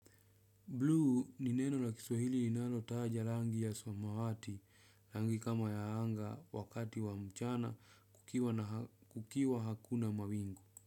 Bluu ni neno la kiswahili linalotaja rangi ya samawati, rangi kama ya anga wakati wa mchana kukiwa hakuna mawingu.